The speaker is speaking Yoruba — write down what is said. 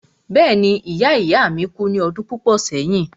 Bẹ́ẹ̀ni ìya ìya ìya mi kú ní ọdún púpọ̀ sẹ́yìn.